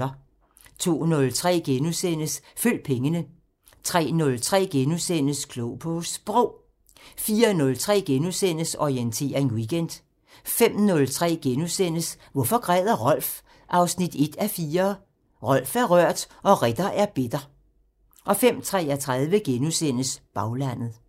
02:03: Følg pengene * 03:03: Klog på Sprog * 04:03: Orientering Weekend * 05:03: Hvorfor græder Rolf? 1:4 – Rolf er rørt og Ritter er bitter * 05:33: Baglandet *